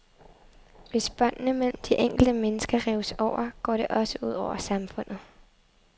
Hvis båndene mellem de enkelte mennesker rives over, går det også ud over samfundet.